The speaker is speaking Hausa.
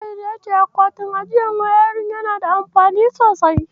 Tahir ya ce akwatin ajiyar wayarin yana da amfani sosai.